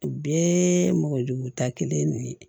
U bɛɛ mɔgɔjugu ta kelen de ye